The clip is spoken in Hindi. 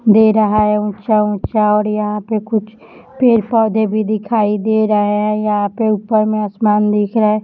दे रहा है ऊंचा-ऊंचा और यहां पे कुछ पेड़ पौधे भी दिखाई दे रहे हैं यहां पर ऊपर में आसमान दिख रहा है।